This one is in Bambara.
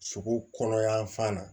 Sogo kɔnɔ yan fan na